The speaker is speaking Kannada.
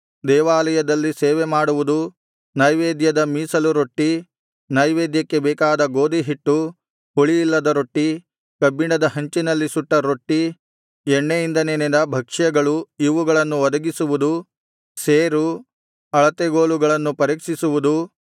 ದೇವಾಲಯದಲ್ಲಿ ಸೇವೆಮಾಡುವುದೂ ನೈವೇದ್ಯದ ಮೀಸಲು ರೊಟ್ಟಿ ನೈವೇದ್ಯಕ್ಕೆ ಬೇಕಾದ ಗೋದಿಹಿಟ್ಟು ಹುಳಿಯಿಲ್ಲದ ರೊಟ್ಟಿ ಕಬ್ಬಿಣದ ಹಂಚಿನಲ್ಲಿ ಸುಟ್ಟ ರೊಟ್ಟಿ ಎಣ್ಣೆಯಿಂದ ನೆನೆದ ಭಕ್ಷ್ಯಗಳು ಇವುಗಳನ್ನು ಒದಗಿಸುವುದೂ ಸೇರು ಅಳತೆಗೋಲುಗಳನ್ನು ಪರೀಕ್ಷಿಸುವುದೂ